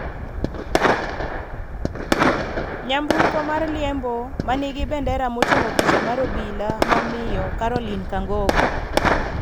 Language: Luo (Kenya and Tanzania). nyamburko mar liembo manigi bendera moting'o picha mar obila ma miyo Caroline Kangogo